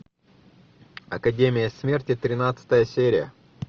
академия смерти тринадцатая серия